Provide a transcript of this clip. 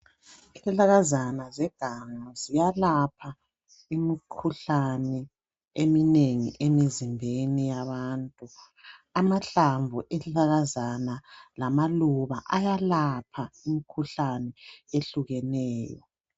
Izihlahlakazana zeganga ziyelapha imikhuhlane eminengi emzimbeni yabantu, amahlamvu ezihlahlakazana lamaluba ayalapha imikhuhlane ehlukeneyo.